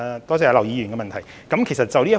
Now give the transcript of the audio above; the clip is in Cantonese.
多謝劉議員的補充質詢。